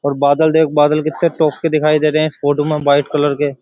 और बादल देख बादल कितने टॉप के दिखाई दे रहे हैं। है में व्हाइट कलर के।